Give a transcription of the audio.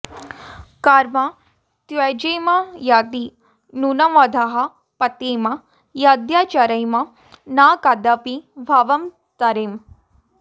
कर्म त्यजेम यदि नूनमधः पतेम यद्याचरेम न कदापि भवं तरेम